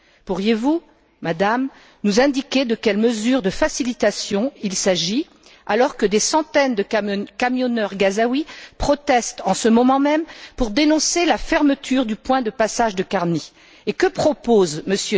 Pourriez vous, Madame, nous indiquer de quelle mesure de facilitation il s'agit alors que des centaines de camionneurs gazaouis protestent en ce moment même pour dénoncer la fermeture du point de passage de Karni et que propose M.